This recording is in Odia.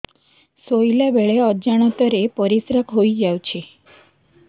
ଶୋଇଲା ବେଳେ ଅଜାଣତ ରେ ପରିସ୍ରା ହେଇଯାଉଛି